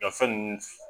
Nka fɛn ninnu